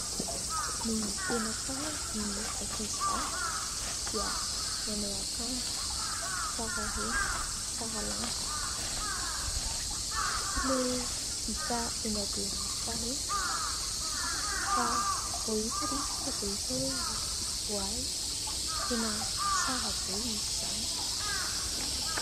Ny tena tsara ry ankizivavy dia manao akanjo tsara ireny tsara lamba. Tsy ilay hita eny Behoririka ireny fa vao hita ilay izy tonga dia hita hoe ho ay tena tsara be izy izany !